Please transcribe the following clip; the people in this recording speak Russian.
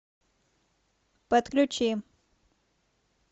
подключи